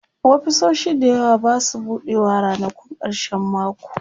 ofisoshi da yawa Basu buɗewa ranakun karshen mako